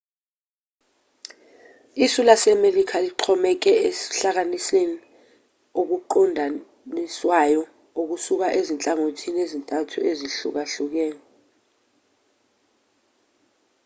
isu lasemelika lixhomeke ekuhlaseleni okuqondiswayo okusuka ezinhlangothini ezintathu ezihlukahlukene